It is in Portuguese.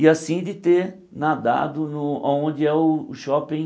E assim, de ter nadado no aonde é o shopping,